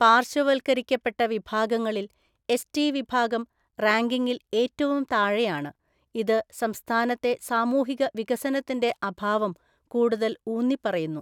പാർശ്വവൽക്കരിക്കപ്പെട്ട വിഭാഗങ്ങളിൽ, എസ്ടി വിഭാഗം റാങ്കിംഗിൽ ഏറ്റവും താഴെയാണ്, ഇത് സംസ്ഥാനത്തെ സാമൂഹിക വികസനത്തിന്റെ അഭാവം കൂടുതൽ ഊന്നിപ്പറയുന്നു.